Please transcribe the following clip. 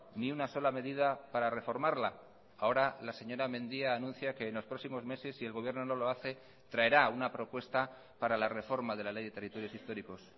ni una sola medida para reformarla ahora la señora mendia anuncia que en los próximos meses si el gobierno no lo hace traerá una propuesta para la reforma de la ley de territorios históricos